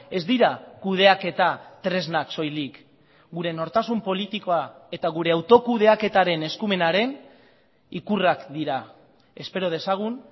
ez dira kudeaketa tresnak soilik gure nortasun politikoa eta gure autokudeaketaren eskumenaren ikurrak dira espero dezagun